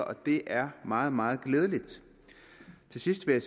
og det er meget meget glædeligt til sidst vil